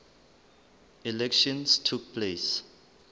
elections took place